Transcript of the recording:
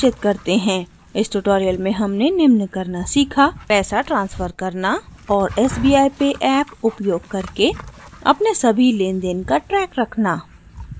इस ट्यूटोरियल में हमने निम्न करना सीखा